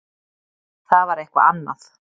Það var eitthvað annað.